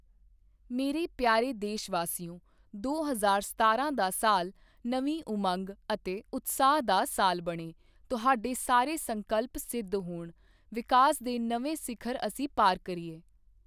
ਮੇਰੇ ਪਿਆਰੇ ਦੇਸ਼ ਵਾਸੀਓ, ਦੋ ਹਜ਼ਾਰ ਸਤਾਰਾਂ ਦਾ ਸਾਲ ਨਵੀਂ ਉਮੰਗ ਅਤੇ ਉਤਸ਼ਾਹ ਦਾ ਸਾਲ ਬਣੇ, ਤੁਹਾਡੇ ਸਾਰੇ ਸੰਕਲਪ ਸਿੱਧ ਹੋਣ, ਵਿਕਾਸ ਦੇ ਨਵੇਂ ਸਿਖ਼ਰ ਅਸੀਂ ਪਾਰ ਕਰੀਏ।